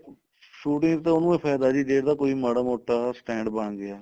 shooting ਤਾਂ ਉਹਨੂੰ ਈ ਫਾਇਦਾ ਜੀ ਜਿਹੜਾ ਤਾਂ ਕੋਈ ਮਾੜਾ ਮੋਟਾ stand ਬਣ ਗਿਆ